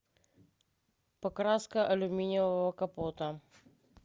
покраска алюминиевого капота